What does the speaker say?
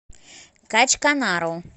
качканару